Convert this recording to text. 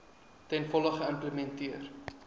ten volle geïmplementeer